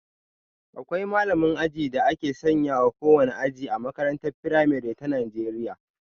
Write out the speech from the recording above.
Akwai malamin aji da aka sanya wa kowane aji A makarantar firamare ta Najeriya.